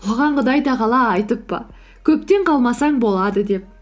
оған құдай тағала айтып па көптен қалмасаң болады деп